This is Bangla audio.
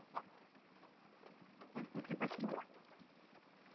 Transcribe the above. okay? করতে পারি?